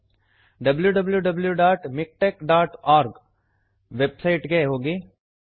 wwwmiktexorg W W W dot MiKTeX dot O R G website ಗೆ ಹೋಗಿ